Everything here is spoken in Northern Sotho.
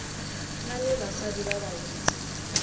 na le basadi ba bantši